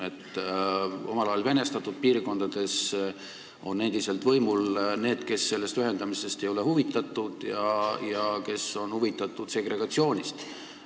Omal ajal venestatud piirkondades on endiselt võimul inimesed, kes sellest ühendamisest ei ole huvitatud, kes on huvitatud segregatsioonist.